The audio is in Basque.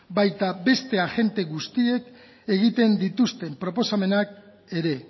baita beste agente guztiek egiten dituzten proposamenak ere